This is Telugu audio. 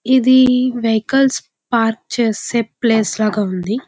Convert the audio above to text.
ఇది వెహికల్స్ పార్క్ చేసే ప్లేస్ లాగా ఉంది.